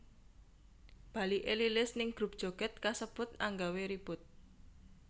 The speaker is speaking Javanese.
Baliké Lilis ning grup joget kasebut anggawé ribut